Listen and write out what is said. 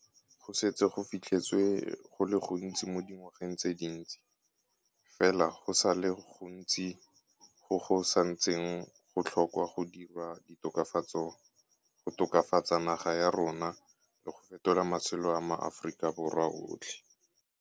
Go setse go fitlheletswe go le gontsi mo dingwageng tse dintsi, fela go sa le go ntsi go go sa ntseng go tlhokwa go dirwa go tokafatsa naga ya rona le go fetola matshelo a maAforika Borwa otlhe.